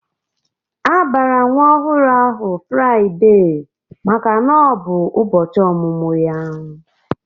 A bara nwa ọhụrụ ahụ Fraide maka na ọ bụ ụbọchị ọmụmụ ya.